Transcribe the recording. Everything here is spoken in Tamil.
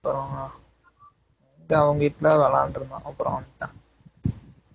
அப்பறம் அதான் அவங்க வீட்ல தான் விளையாண்டுட்டு இருந்தா அப்பறம் வந்துட்டான்